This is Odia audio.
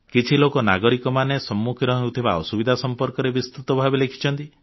କିଛି ଲୋକ ନାଗରିକମାନେ ସମ୍ମୁଖୀନ ହେଉଥିବା ଅସୁବିଧା ସମ୍ପର୍କରେ ବିସ୍ତୃତ ଭାବରେ ଲେଖିଛନ୍ତି